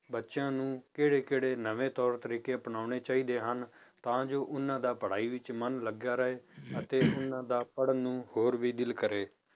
ਬੱਚਿਆਂ ਨੂੰ ਕਿਹੜੇ ਕਿਹੜੇ ਨਵੇਂ ਤੌਰ ਤਰੀਕੇ ਅਪਨਾਉਣੇ ਚਾਹੀਦੇ ਹਨ, ਤਾਂ ਜੋ ਉਹਨਾਂ ਦਾ ਪੜ੍ਹਾਈ ਵਿੱਚ ਮਨ ਲੱਗਿਆ ਰਹੇ ਅਤੇ ਉਹਨਾਂ ਦਾ ਪੜ੍ਹਣ ਨੂੰ ਹੋਰ ਵੀ ਦਿਲ ਕਰੇ